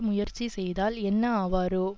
முயற்சி செய்தால் என்ன ஆவாரோ